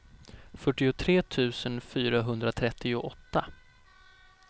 fyrtiotre tusen fyrahundratrettioåtta